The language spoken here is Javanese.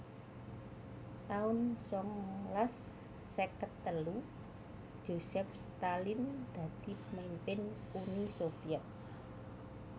taun sangalas seket telu Josef Stalin dadi pamimpin Uni Sovyet